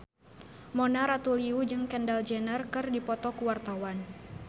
Mona Ratuliu jeung Kendall Jenner keur dipoto ku wartawan